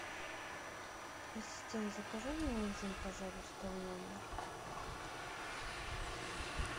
ассистент закажи мне ужин пожалуйста в номер